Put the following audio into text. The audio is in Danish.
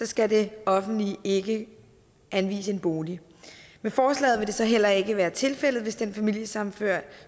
skal det offentlige ikke anvise en bolig med forslaget vil det så heller ikke være tilfældet hvis den familiesammenførte